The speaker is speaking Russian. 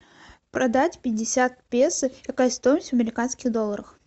продать пятьдесят песо какая стоимость в американских долларах